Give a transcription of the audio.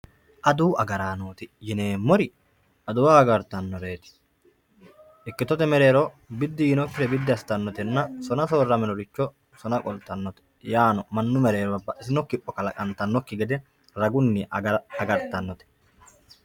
aduwu agaraanooti yineemmori aduwa agartannoreeti ikkitote mereero biddi yiinokkire biddi assitannorena sona soorraminore sona biddi assitannore yaano mannu mereero baxitino kipho kalaqantannoikki ged ragunni agartannote